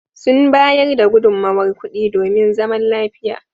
Sun bayar da gudunmowar kuɗi domin zaman lafiya.